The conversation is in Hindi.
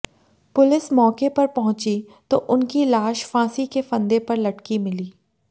पुलिस मौके पर पहुंची तो उनकी लाश फांसी के फंदे पर लटकी मिली